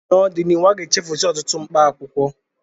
N'ọdịnihu, aga-echefusi ọtụtụ mkpaakwụkwọ